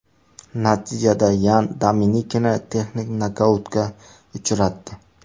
Natijada Yan Dominikini texnik nokautga uchratdi.